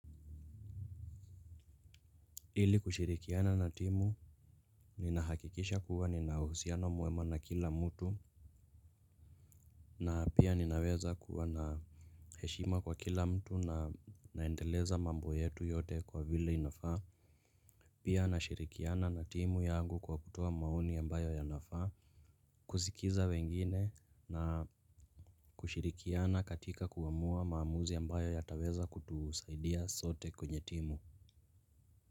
Ili kushirikiana na timu ninahakikisha kuwa nina uhusiano mwema na kila mtu. Na pia ninaweza kuwa na heshima kwa kila mtu na naendeleza mambo yetu yote kwa vile inafaa. Pia nashirikiana na timu yangu kwa kutoa maoni ambayo yanafaa. Kusikiza wengine na kushirikiana katika kuamua maamuzi ambayo yataweza kutusaidia sote kwenye timu.